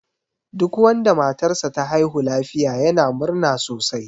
Duk wanda matar sa ta haihu lafiya yana murna sosai.